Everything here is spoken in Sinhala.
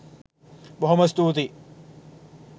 බොහොම ස්තූතියි